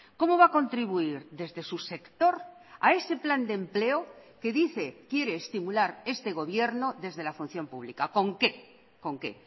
cómo va a contribuir desde su sector a ese plan de empleo que dice quiere estimular este gobierno desde la función pública con qué con qué